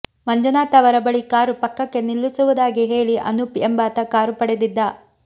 ಮಂಜುನಾಥ್ ಅವರ ಬಳಿ ಕಾರು ಪಕ್ಕಕ್ಕೆ ನಿಲ್ಲಿಸುವುದಾಗಿ ಹೇಳಿ ಅನೂಪ್ ಎಂಬಾತ ಕಾರು ಪಡೆದಿದ್ದ